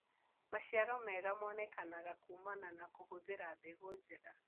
Maciaro mega monekanaga kumana na kũhũthĩra mbegũ njega.